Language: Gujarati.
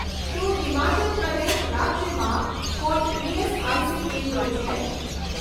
શું હિમાચલ પ્રદેશ રાજ્યમાં કોઈ ઇએસઆઇસી કેન્દ્રો છે?